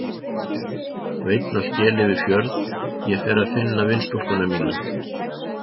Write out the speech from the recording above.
Og einn á skel yfir fjörð ég fer að finna vinstúlku mína.